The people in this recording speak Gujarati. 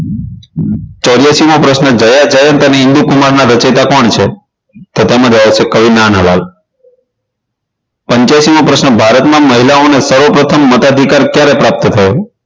ચોર્યાશી મો પ્રશ્ન જયા જયંત અને ઇન્દુ કુમારના રચિયાતા કોણ છે તો તેમાં જવાબ આવશે કવિ નાનાલાલ પંચ્યાસી મો પ્રશ્ન ભારતમાં મહિલાઓને સર્વપ્રથમ મતાધિકાર ક્યારે પ્રાપ્ત થયો